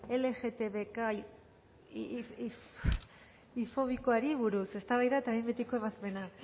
lgtbiqfobikoari buruz eztabaida eta behin betiko ebazpena